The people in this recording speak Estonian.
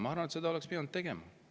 Ma arvan, et seda oleks pidanud tegema.